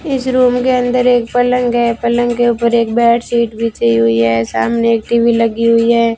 इस रूम के अंदर एक पलंग है पलंग के ऊपर एक बेडशीट बिछी हुई है सामने टी_वी लगी हुई है।